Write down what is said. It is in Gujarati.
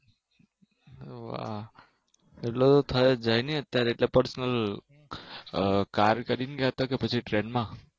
વાહ એટલે થયી જ જાય નહિ અત્યારે એટલે પછી Personal કાર કરીને ગયા તા કે પછી Train માં